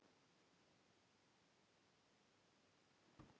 Lóa: Og er nokkuð sem bendir til þess að svo verði ekki?